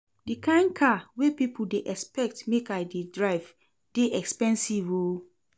Di kain car wey pipo dey expect make I dey drive dey expensive o.